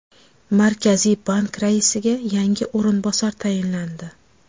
Markaziy bank raisiga yangi o‘rinbosar tayinlandi.